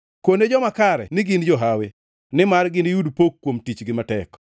Kone joma kare ni gin johawi, nimar giniyud pok kuom tichgi matek.